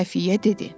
Xəfiyyə dedi.